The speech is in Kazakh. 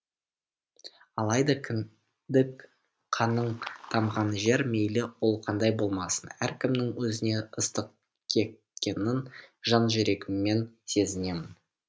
алайда кіндік қаның тамған жер мейлі ол қандай болмасын әркімнің өзіне ыстықекенін жан жүрегіммен сезінемін